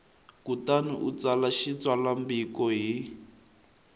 kutani u tsala xitsalwambiko hi